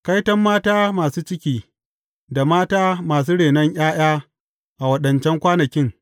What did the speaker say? Kaiton mata masu ciki, da mata masu renon ’ya’ya a waɗancan kwanakin!